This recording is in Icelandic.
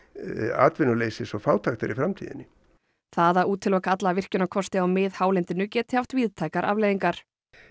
atvinnuleysis og fátæktar í framtíðinni það að útiloka alla virkjunarkosti á miðhálendinu geti haft víðtækar afleiðingar